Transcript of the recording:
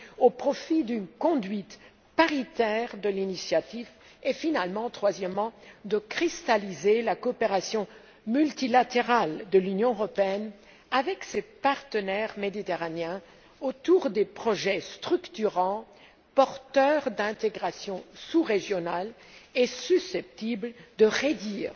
au profit d'une conduite paritaire de l'initiative et, finalement, de cristalliser la coopération multilatérale de l'Union européenne avec ses partenaires méditerranéens autour de projets structurants, porteurs d'intégration sous régionale et susceptibles de réduire